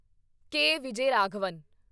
ਕੇ. Vijayaraghavan